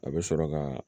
A bɛ sɔrɔ ka